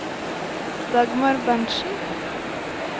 Dagmar Berntzen